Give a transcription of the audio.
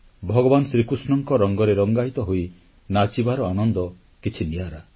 ଭଗବାନ ଶ୍ରୀକୃଷ୍ଣଙ୍କ ରଙ୍ଗରେ ରଙ୍ଗାୟିତ ହୋଇ ନାଚିବାର ଆନନ୍ଦ କିଛି ନିଆରା